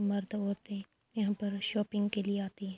مرد اڑتے یہاں پر شاپنگ کے لئے آتی ہے۔